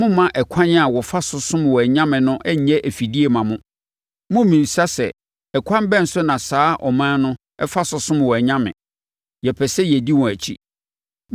mommma ɛkwan a wɔfa so som wɔn anyame no nyɛ afidie mma mo. Mommmisa sɛ “Ɛkwan bɛn so na saa aman yi fa som wɔn anyame? Yɛpɛ sɛ yɛdi wɔn akyi.”